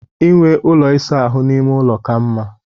Inwe ụlọ ịsa ahụ n'ime ụlọ ka mma